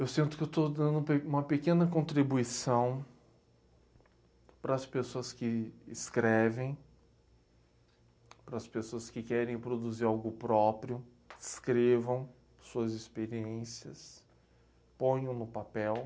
Eu sinto que estou dando um pe uma pequena contribuição para as pessoas que escrevem, para as pessoas que querem produzir algo próprio, escrevam suas experiências, ponham no papel.